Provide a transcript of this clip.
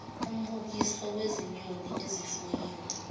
umbukiso wezinyoni ezifuyiwe